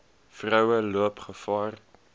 vroue loop gevaar